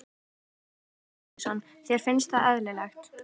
Nokkur dæmi um rangstöðu?